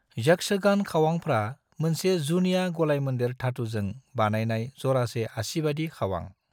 यक्षगान खावांफ्रा मोनसे जुनिया गलायमोन्देर धातुजों बानायनाय जरासे आसिबादि खावां।